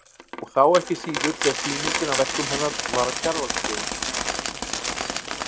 Og þá ekki síður þegar sýningin á verkum hennar var á Kjarvalsstöðum.